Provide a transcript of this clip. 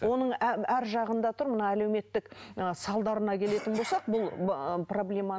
оның арғы жағында тұр мына әлеуметтік салдарына келетін болсақ бұл проблеманың